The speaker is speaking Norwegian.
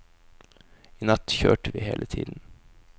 I natt kjørte vi hele tiden.